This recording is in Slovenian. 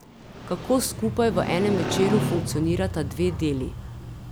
Kako skupaj v enem večeru funkcionirata dve deli?